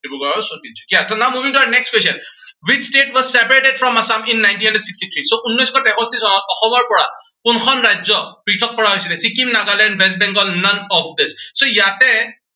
ডিব্ৰুগড় আৰু Tinsukia. now, moving to our next question, which state was separated from Assam in nineteen hundred sixty three, so উনৈচ শ তেষষ্ঠি চনত অসমৰ পৰা কোনখন ৰাজ্য় পৃথক কৰা হৈছিলে, Sikkim, Nagaland, West Bangle, none of this. so ইয়াতে